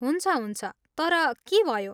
हुन्छ हुन्छ, तर के भयो?